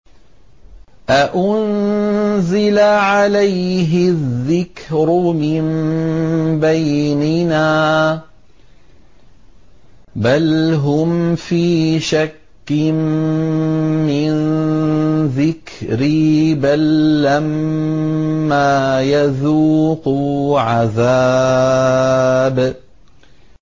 أَأُنزِلَ عَلَيْهِ الذِّكْرُ مِن بَيْنِنَا ۚ بَلْ هُمْ فِي شَكٍّ مِّن ذِكْرِي ۖ بَل لَّمَّا يَذُوقُوا عَذَابِ